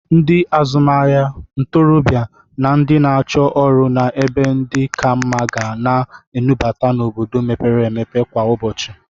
Ndị azụmahịa, ntorọbịa na ndị na-achọ ọrụ na ebe ndụ ka mma ga na-enubata n'obodo mpepere empepe kwa ụbọchị.